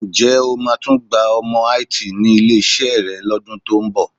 Ǹjẹ́ o máa tún gba ọmọ IT ní ilé-iṣẹ́ rẹ lọ́dún tó ń bọ̀?